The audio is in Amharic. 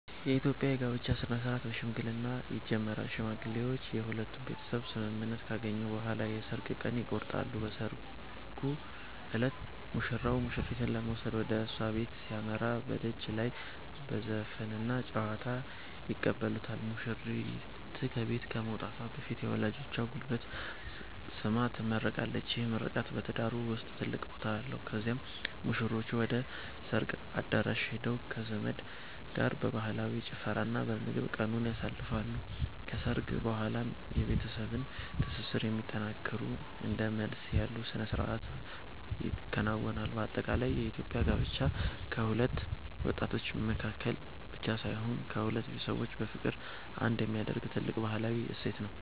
የኢትዮጵያ የጋብቻ ሥነ-ሥርዓት በሽምግልና ይጀምራል። ሽማግሌዎች የሁለቱን ቤተሰብ ስምምነት ካገኙ በኋላ የሰርግ ቀን ይቆረጣል። በሰርጉ ዕለት ሙሽራው ሙሽሪትን ለመውሰድ ወደ እሷ ቤት ሲያመራ፣ በደጅ ላይ በዘፈንና በጨዋታ ይቀበሉታል። ሙሽሪት ከቤት ከመውጣቷ በፊት የወላጆቿን ጉልበት ስማ ትመረቃለች፤ ይህ ምርቃት በትዳሩ ውስጥ ትልቅ ቦታ አለው። ከዚያም ሙሽሮቹ ወደ ሰርግ አዳራሽ ሄደው ከዘመድ ጋር በባህላዊ ጭፈራና በምግብ ቀኑን ያሳልፋሉ። ከሰርግ በኋላም የቤተሰብን ትስስር የሚያጠነክሩ እንደ መልስ ያሉ ሥነ-ሥርዓቶች ይከናወናሉ። በአጠቃላይ የኢትዮጵያ ጋብቻ በሁለት ወጣቶች መካከል ብቻ ሳይሆን፣ ሁለት ቤተሰቦችን በፍቅር አንድ የሚያደርግ ትልቅ ባህላዊ እሴት ነው።